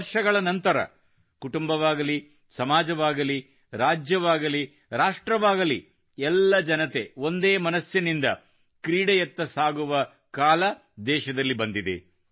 ವರ್ಷಗಳ ನಂತರ ಕುಟುಂಬವಾಗಲಿ ಸಮಾಜವಾಗಲಿ ರಾಜ್ಯವಾಗಲಿ ರಾಷ್ಟ್ರವಾಗಲಿ ಎಲ್ಲ ಜನತೆ ಒಂದೇ ಮನಸ್ಸಿನಿಂದ ಕ್ರೀಡೆಯತ್ತ ಸಾಗುವ ದೇಶದಲ್ಲಿ ಕಾಲ ಬಂದಿದೆ